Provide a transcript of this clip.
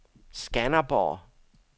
Skanderborg